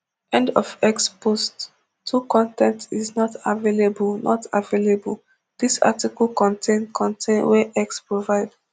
end of x post two con ten t is not available not available dis article contain con ten t wey x provide